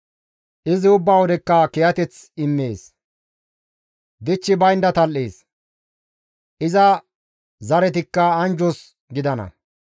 Izi ubba wodekka kiyateth immees; dichchi baynda tal7ees; iza zaretikka anjjos gidana.